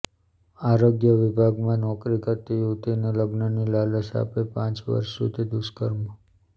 આરોગ્ય વિભાગમાં નોકરી કરતી યુવતીને લગ્નની લાલચ આપી પાંચ વર્ષ સુધી દુષ્કર્મ